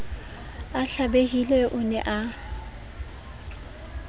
a hlabehile o ne a